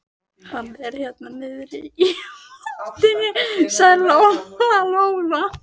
Hann er hérna niðri í moldinni, sagði Lóa-Lóa.